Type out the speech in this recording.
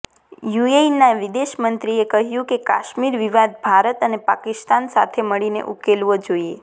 યુએઈના વિદેશમંત્રીએ કહ્યું કે કાશ્મીર વિવાદ ભારત અને પાકિસ્તાન સાથે મળીને ઉકેલવો જોઈએ